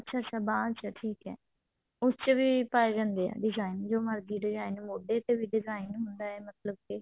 ਅੱਛਾ ਅੱਛਾ ਬਾਂਹ ਚ ਠੀਕ ਹੈ ਉਸ ਚ ਵੀ ਪਾਏ ਜਾਂਦੇ ਆ shine ਜੋ ਮਰਜੀ design ਮੋਢੇ ਤੇ ਵੀ design ਹੁੰਡ ਹੈ ਮਤਲਬ ਕਿ